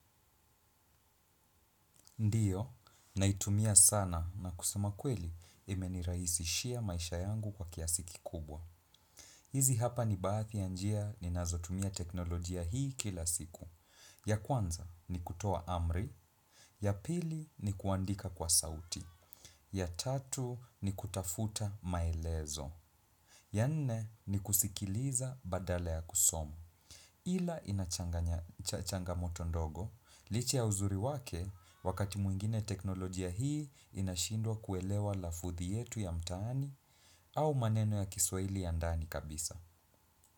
Ndiyo, naitumia sana na kusema ukweli imeniraisishia maisha yangu kwa kiasiki kubwa. Hizi hapa ni baati ya njia ninazotumia teknolojia hii kila siku. Ya kwanza ni kutoa amri, ya pili ni kuandika kwa sauti, ya tatu ni kutafuta maelezo, ya nne ni kusikiliza badala ya kusoma. Ila inachangamoto ndogo, licha ya uzuri wake wakati muingine teknolojia hii inashindwa kuelewa lafuthi yetu ya mtaani au maneno ya kiswaili ya ndani kabisa.